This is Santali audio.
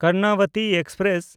ᱠᱚᱨᱱᱟᱵᱚᱛᱤ ᱮᱠᱥᱯᱨᱮᱥ